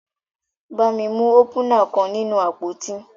Bami mu opúnạ kan ninu apoti.